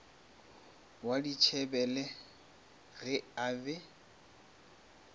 wa dithebele ge a be